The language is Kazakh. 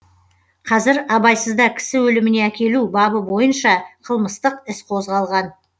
қазір абайсызда кісі өліміне әкелу бабы бойынша қылмыстық іс қозғалған